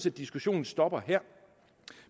at diskussionen stopper her